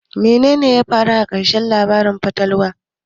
Menene ya faru a ƙarshen labarin fatalwar?